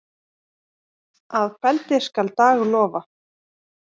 Að kveldi skal dag lofa.